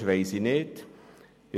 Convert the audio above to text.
Ich weiss nicht, weshalb.